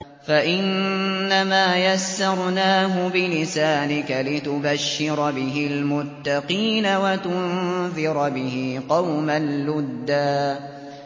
فَإِنَّمَا يَسَّرْنَاهُ بِلِسَانِكَ لِتُبَشِّرَ بِهِ الْمُتَّقِينَ وَتُنذِرَ بِهِ قَوْمًا لُّدًّا